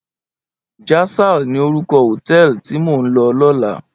Jasal ni órúkò hótèlí ti mó n lò lòlá